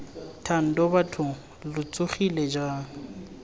thando bathong lo tsogile jang